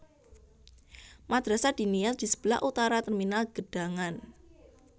Madrasah Diniyah di sebelah utara Terminal Gedangan